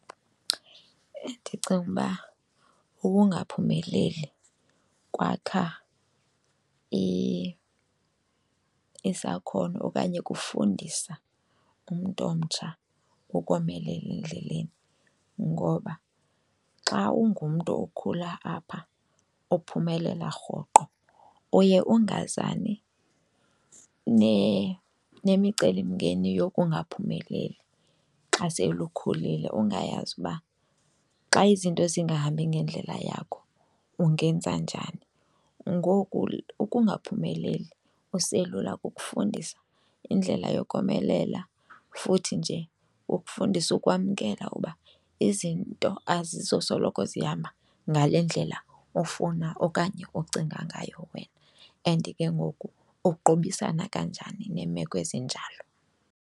Ndicinga uba ukungaphumeleli kwakha isakhono okanye kufundisa umntu omtsha ukomelela endleleni ngoba xa ungumntu okhula apha ophumelela rhoqo, uye ungazani nemicelimngeni yokungaphumeleli xa sele ukhulile. Ungayazi uba na xa izinto zingahambi ngendlela yakho ungenza njani. Ngoku ukungaphumeleli uselula kukufundisa indlela yokomelela futhi nje kufundisa ukwamkela uba izinto azizosoloko zihamba ngale ndlela ofuna okanye ocinga ngayo wena and ke ngoku uqobisana kanjani neemeko ezinjalo.